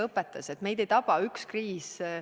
Õpetas seda, et meid ei taba üks kriis korraga.